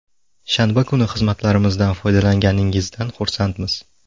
Shanba kuni xizmatlarimizdan foydalanganingizdan xursandmiz.